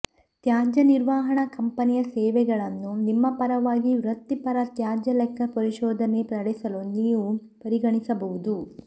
ತ್ಯಾಜ್ಯ ನಿರ್ವಹಣಾ ಕಂಪೆನಿಯ ಸೇವೆಗಳನ್ನು ನಿಮ್ಮ ಪರವಾಗಿ ವೃತ್ತಿಪರ ತ್ಯಾಜ್ಯ ಲೆಕ್ಕ ಪರಿಶೋಧನೆ ನಡೆಸಲು ನೀವು ಪರಿಗಣಿಸಬಹುದು